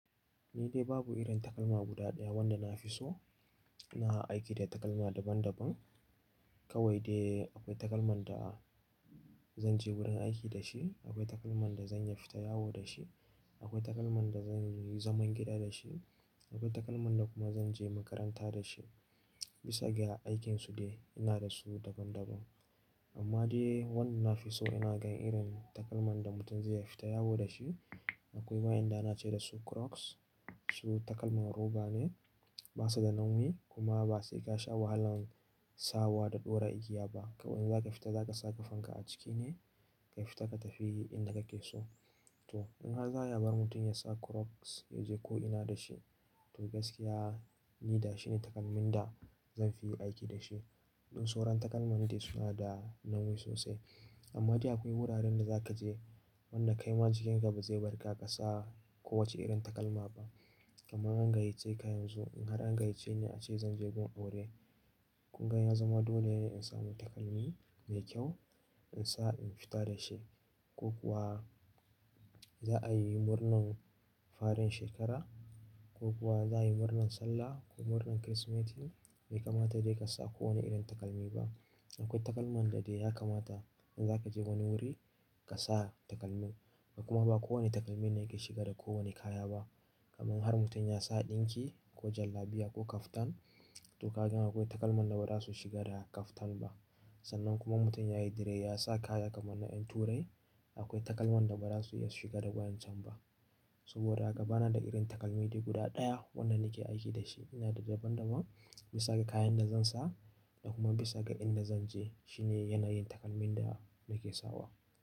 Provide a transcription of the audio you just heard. Ni dai babu irin takalma guda ɗaya wanda na fi so. Na aiki da takalma daban daban. Kawai dai akwai takalman da zan je wurin aiki da shi, akwai takalman da zan yi fita yawo da shi, akwai takalman da zan yi zaman gida da shi, akwai takalman da kuma zan je makaranta da shi. Bisa ga aikinsu dai ina da su daban daban. Amma dai wanda na fi so ina gan irin takalman da mutum zai yi fita yawo da shi. Akwai ma'inda na ce dasu Crocs. Su takalman roba ne, basu da nauyi kuma ba sai ka sha wahalan sawa da dora igiya ba. Kawai idan zaka fita zaka saka fanka a ciki ne ka fita ka tafi inda kake so. To in har za a bar mutum ya sa Crocs ya je ko'ina da shi to gaskiya ni da shi ne takalmin da zanfi yi aiki da shi. Duk sauran takalman dai suna da nauyi sosai. Amma dai akwai wuraren da za ka je wanda kaima jikinka ba zai bar ka ka sa kowace irin takalma ba. Kaman an gayyace ka yanzu, in har an gayyace ni a ce zan je gun aure kunga ya zama dole ne in sami takalmi mai kyau in sa in fita da shi ko kuwa za'a yi murnan faren shekara ko kuwa za'a yi murnan sallah ko murnan Kirsimeti, bai kamata dai ka sa kowane irin takalmi ba. Akwai takalman da dai ya kamata in za ka je wani wuri ka sa takalmin. Kuma ba kowane takalmi ne yake shiga da kowane kaya ba. Kaman har mutum ya sa ɗinki ko jallabiya ko kaftan to ka gan akwai takalman da ba za su shiga da kaftan ba. Sannan kuma mutum yayi dare ya sa kaya kaman na ƴan turai akwai takalman da ba za su iya shiga da waƴancan ba. Saboda haka bana da irin takalmi dai guda ɗaya wanda nake aiki da shi. Ina da daban daban bisa ga kayan da zan sa da kuma bisa ga inda zan je. Shi ne yanayin takalmin da nake sawa.